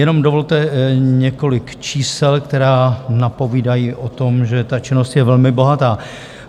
Jenom dovolte několik čísel, která napovídají o tom, že ta činnost je velmi bohatá.